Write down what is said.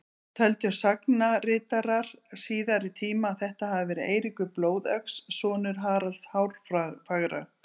Töldu sagnaritarar síðari tíma að þetta hafi verið Eiríkur blóðöx, sonur Haralds hárfagra.